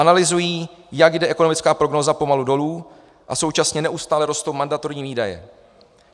Analyzují, jak jde ekonomické prognóza pomalu dolů a současně neustále rostou mandatorní výdaje.